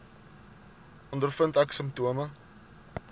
ondervind ek simptome